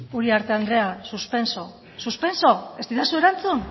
uriarte andrea suspenso suspenso ez didazu erantzun